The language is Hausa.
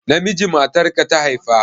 Namiji matarka ta haifa?